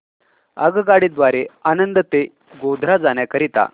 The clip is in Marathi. आगगाडी द्वारे आणंद ते गोध्रा जाण्या करीता